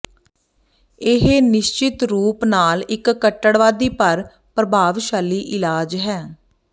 ਇਹ ਨਿਸ਼ਚਿਤ ਰੂਪ ਨਾਲ ਇੱਕ ਕੱਟੜਵਾਦੀ ਪਰ ਪ੍ਰਭਾਵਸ਼ਾਲੀ ਇਲਾਜ ਹੈ